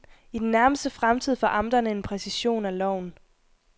I den nærmeste fremtid får amterne en præcision af loven.